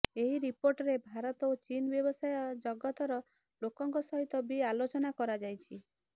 ଏହି ରିପୋର୍ଟରେ ଭାରତ ଓ ଚୀନ୍ର ବ୍ୟବସାୟ ଜଗତର ଲୋକଙ୍କ ସହିତ ବି ଆଲୋଚନା କରାଯାଇଛି